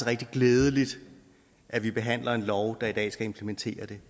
rigtig glædeligt at vi behandler en lov der i dag skal implementere det